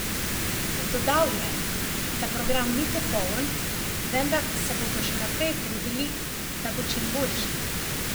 Dodal je, da program ni popoln, vendar se bodo še naprej trudili, da bo čim boljši.